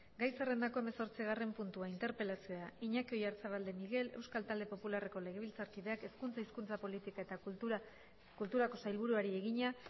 gai zerrendako hemezortzigarren puntua interpelazioa iñaki oyarzabal de miguel euskal talde popularreko legebiltzarkideak hezkuntza hizkuntza politika eta kulturako sailburuari egina